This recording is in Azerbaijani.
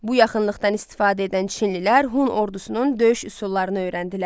Bu yaxınlıqdan istifadə edən çinlilər Hun ordusunun döyüş üsullarını öyrəndilər.